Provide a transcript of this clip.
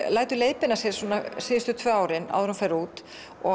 lætur leiðbeina sér síðustu tvö árin áður en hún fer út